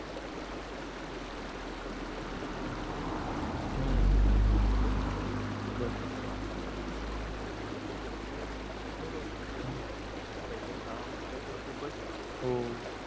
हम्म झोपणारच होता पण जावई बोला की चला बर आता करूया तर तो बोल ठीक आहे करू आपण तर पहिले दहा minutes तर खूपच enjoy हो